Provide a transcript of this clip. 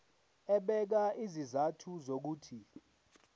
ebeka izizathu zokuthi